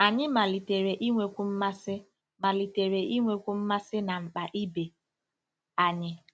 Anyị malitere inwekwu mmasị malitere inwekwu mmasị na mkpa ibe anyị.